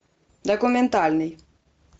документальный